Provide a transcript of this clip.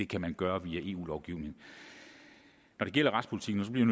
kan gøre det via eu lovgivning når det gælder retspolitikken og så bliver